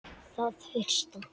Það fyrsta.